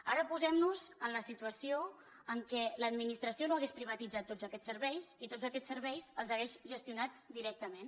ara posem nos en la situació en què l’administració no hagués privatitzat tots aquests serveis i tots aquests serveis els hagués gestionat directament